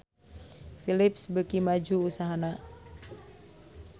Philips beuki maju usahana